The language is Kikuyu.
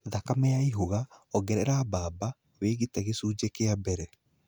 Thakame yaihuga, ongerera bamba, wĩigĩte gĩcunje kĩa mbere.